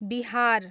Bihar